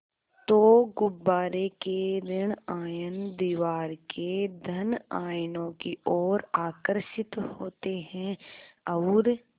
तो गुब्बारे के ॠण आयन दीवार के धन आयनों की ओर आकर्षित होते हैं और